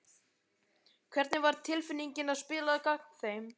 Hvernig var tilfinningin að spila gegn þeim?